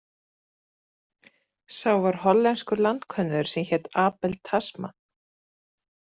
Sá var hollensku landkönnuður sem hét Abel Tasman.